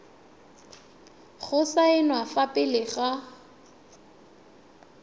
go saenwa fa pele ga